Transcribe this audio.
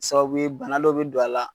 Sababu ye bana dɔ be don a la